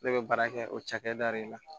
Ne bɛ baara kɛ o cakɛda de la